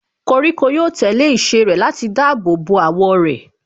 Koríko yóò tẹ̀lé ìṣe rẹ̀ láti dáàbò bo àwọ̀ rẹ̀.